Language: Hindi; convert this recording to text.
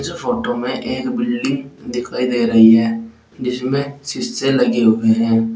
फोटो में एक बिल्डिंग दिखाई दे रही है जिसमें शीशे लगे हुए हैं।